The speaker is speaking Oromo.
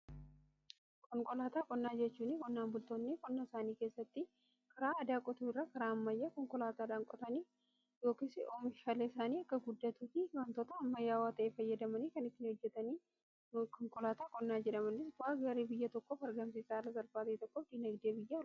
Konkolaataa qonnaa jechuu qonnaan bultoonni qonnaa isaanii keessatti karaa aadaa qotuu irra karaa ammayyaa konkolaataadhaan qotanii yookiis oomishaalee isaanii akka guddatuufi waantoota ammayyawwaa ta'e fayyadamanii kan ittiin hojjetaniidha. Konkolaataa qonnaa jedhamanii bu'aa gaarii biyya tokkoof argamsiisaa haala salphaa ta'ee tokkoon dinagdee biyyaa guddisu.